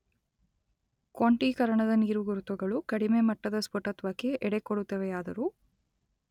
ಕ್ವಾಂಟೀಕರಣದ ನೀರುಗುರುತುಗಳು ಕಡಿಮೆ ಮಟ್ಟದ ಸ್ಫುಟತ್ವಕ್ಕೆ ಎಡೆಕೊಡುತ್ತವೆಯಾದರೂ